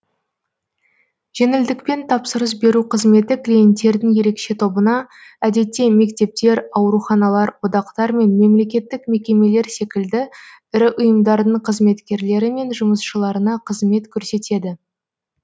жеңілдікпен тапсырыс беру қызметі клиенттердің ерекше тобына әдетте мектептер ауруханалар одақтар мен мемлекеттік мекемелер секілді ірі ұйымдардың қызметкерлері мен жұмысшыларына қызмет көрсетеді